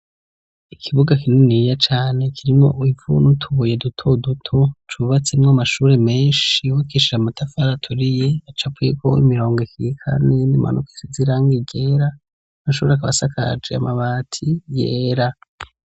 Ikibuga kininiya cane, kirimwo ivu n'utubuye duto duto, cubatsemwo amashuri menshi yubakishije amatafari aturiye, acapuyeko imirongo ikikamye n'iyimanuka isize irangi ryera, amashuri akaba asakaje amabati yera.